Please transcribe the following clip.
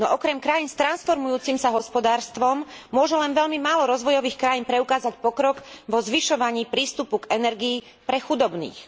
No okrem krajín s transformujúcim sa hospodárstvom môže len veľmi málo rozvojových krajín preukázať pokrok vo zvyšovaní prístupu k energii pre chudobných.